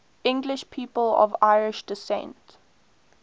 english people of irish descent